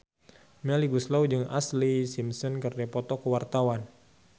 Melly Goeslaw jeung Ashlee Simpson keur dipoto ku wartawan